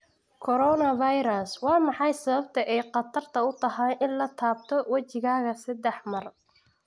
Coronavirus: Waa maxay sababta ay khatar u tahay in la taabto wejigaaga sedax mar.